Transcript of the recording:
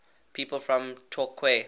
people from torquay